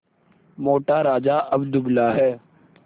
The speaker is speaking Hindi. मोटा राजा अब दुबला है